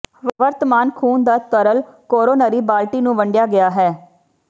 ਵਰਤਮਾਨ ਖੂਨ ਦਾ ਤਰਲ ਕੋਰੋਨਰੀ ਬਾਲਟੀ ਨੂੰ ਵੰਡਿਆ ਗਿਆ ਹੈ